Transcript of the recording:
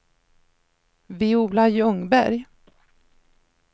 Viola Ljungberg